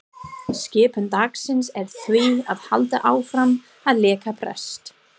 Skipun dagsins er því að halda áfram að leika prest.